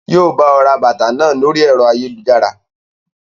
Yii o bọ̀ ra bàtà náà ni orí ẹ̀rọ ayélujára.